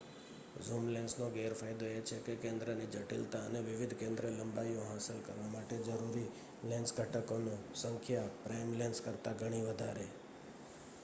zoom લેન્સનો ગેરફાયદો એ છે કે કેન્દ્રની જટિલતા અને વિવિધ કેન્દ્રલંબાઇઓ હાંસલ કરવા માટે જરૂરી લેન્સ ઘટકોની સંખ્યા પ્રાઇમ લેન્સ કરતાં ઘણી વધારે